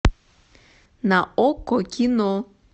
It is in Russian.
на окко кино